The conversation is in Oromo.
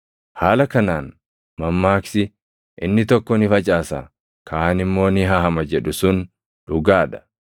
Haala kanaan mammaaksi, ‘Inni tokko ni facaasa; kaan immoo ni haama’ jedhu sun dhugaa dha.